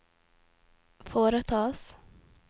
foretas